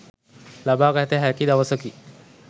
ලබාගත හැකි දවසකි.